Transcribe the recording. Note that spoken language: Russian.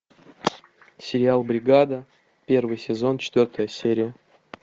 сериал бригада первый сезон четвертая серия